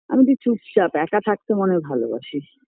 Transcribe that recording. আমি একটু চুপচাপ একা থাকতে মনে হয় ভালোবাসি